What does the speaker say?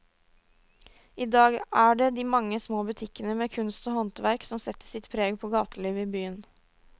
I dag er det de mange små butikkene med kunst og håndverk som setter sitt preg på gatelivet i byen.